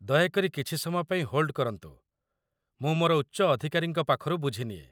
ଦୟାକରି କିଛି ସମୟ ପାଇଁ ହୋଲ୍ଡ କରନ୍ତୁ । ମୁଁ ମୋର ଉଚ୍ଚ ଅଧିକାରୀଙ୍କ ପାଖରୁ ବୁଝିନିଏ।